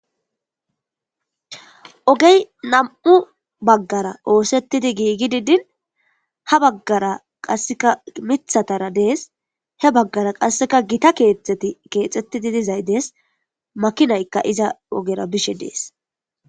ogey nam7u baggara oosettidi giigi didin ha baggara qasseka mithatara dees he baggara qasseka gita keexeti keexxettidi dizay dees makinaykka iza ogera bishe dees